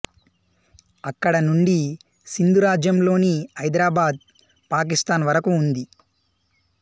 అక్కడ నుండి సింధ్ రాజ్యంలోని హైదరాబాద్ పాకిస్తాన్ వరకు ఉంది